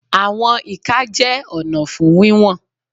Àwọn ìka jẹ́ ọ̀nà fún wíwọ̀n.